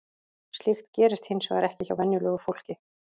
Slíkt gerist hins vegar ekki hjá venjulegu fólki.